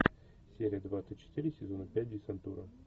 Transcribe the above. серия двадцать четыре сезона пять десантура